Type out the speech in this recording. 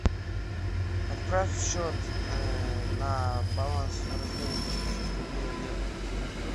отправь счет на баланс в размере пятидесяти рублей олегу